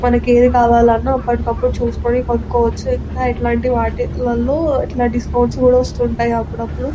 మనకి ఏది కావాలన్నా అప్పటికప్పుడు చూసుకొని కొనుక్కోవచ్చు ఇంకా ఇలాంటి వాటిలోనే ఇలాంటి వాటిల్లో డిస్కౌంట్స్ కూడా వస్తూ ఉంటాయి అప్పుడప్పుడు.